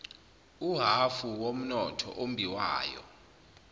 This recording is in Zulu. uhhafu womnotho ombiwayo